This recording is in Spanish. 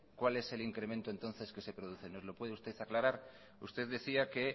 cuál es el incremento entonces que se produce nos lo puede usted aclarar usted decía que